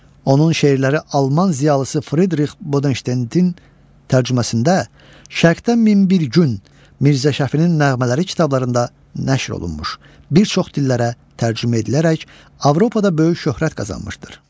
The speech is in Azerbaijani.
Onun şeirləri alman ziyalısı Fridrix Bodenşteinin tərcüməsində Şərqdən min bir gün, Mirzə Şəfinin nəğmələri kitablarında nəşr olunmuş, bir çox dillərə tərcümə edilərək Avropada böyük şöhrət qazanmışdır.